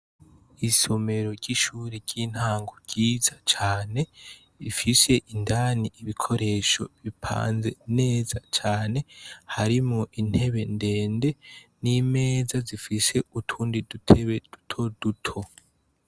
Isomero ry'ishuri ry'intango ryiza cane, ifise indani ibikoresho bipanze neza cane. Harimwo intebe ndende, n'imeza, zifise utundi dutebe duto duto.